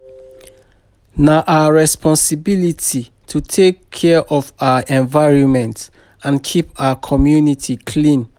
Na our responsibility to take care of our environment and keep our community clean.